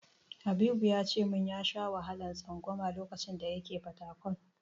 Habibu ya ce min ya sha wahalar tsangwama lokacin da yana Fatakwal.